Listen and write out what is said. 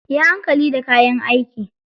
Yi hankali da kayan aiki.